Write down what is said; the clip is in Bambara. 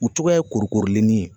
U togoya ye korikorilenni ye